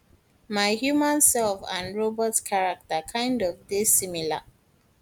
my human sef and robot character kind of dey similar